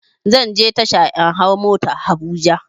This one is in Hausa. Zanje tasha in hau motar habuja